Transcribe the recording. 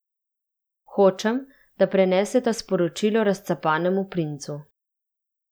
Hočem, da preneseta sporočilo Razcapanemu princu.